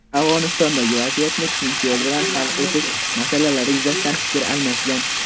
Afg‘onistondagi vaziyatni tinch yo‘l bilan hal etish masalalari yuzasidan fikr almashgan.